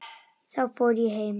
Þá fór ég heim.